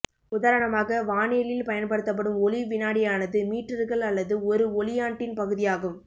உதாரணமாக வானியலில் பயன்படுத்தப்படும் ஒளி வினாடியானது மீற்றர்கள் அல்லது ஒரு ஒளியாண்டின் பகுதியாகும்